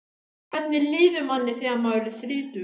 Hvernig líður manni þegar maður er þrítugur?